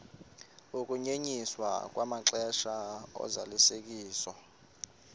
ukunyenyiswa kwamaxesha ozalisekiso